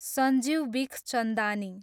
Sanjeev Bikhchandani